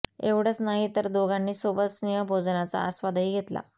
एवढंच नाही तर दोघांनी सोबत स्नेहभोजनचा आस्वादही घेतला